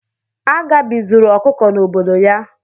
Agabi zuru ọkụkọ n'obodo ya.